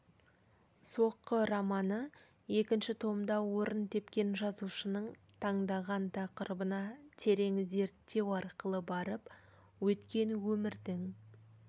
соққы романы екінші томда орын тепкен жазушының таңдаған тақырыбына терең зерттеу арқылы барып өткен өмірдің